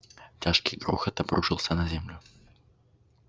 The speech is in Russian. тяжкий грохот обрушился на землю